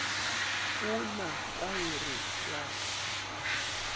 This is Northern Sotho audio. o na taere ya ka